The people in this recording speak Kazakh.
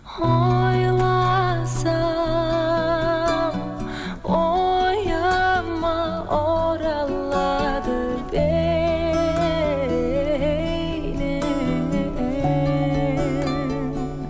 ойласам ойыма оралады бейнең